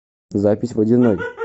запись водяной